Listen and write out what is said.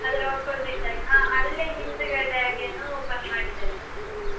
ಅದ್ರ opposite ಆಗಿ ಅಲ್ಲೇ ಹಿಂದ್ಗಡೆಯಾಗಿ ಏನೋ open ಮಾಡಿದ್ದಾರೆ ಹೊಸ್ತು.